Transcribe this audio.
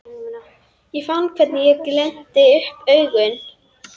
Ég fann hvernig ég glennti upp augun.